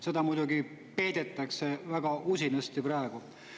Seda muidugi peidetakse väga usinasti praegu.